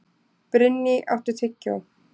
Brynný, áttu tyggjó?